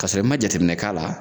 K'a sɔrɔ i ma jateminɛ k'a la.